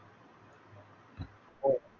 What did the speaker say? हो